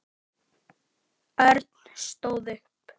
Örn stóð upp.